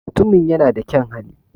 Mutumin ya na da kyaun hali